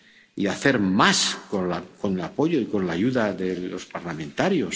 y hacer más con el apoyo y con la ayuda de los parlamentarios.